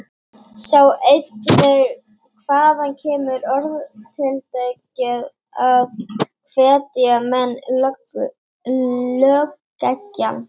Sjá einnig: Hvaðan kemur orðatiltækið að hvetja menn lögeggjan?